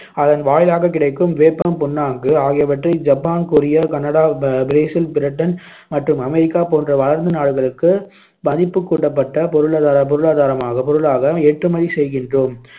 அதன் வாயிலாகக் கிடைக்கும் வேப்பம்புண்ணாக்கு ஆகியவற்றை Japan, Korea, Canada, Brazil, Britain மற்றும் அமெரிக்கா போன்ற வளர்ந்த நாடுகளுக்கு மதிப்புக் கூட்டப்பட்ட பொருளாதார பொருளாதாரமாக பொருளாக ஏற்றுமதி செய்கின்றோம்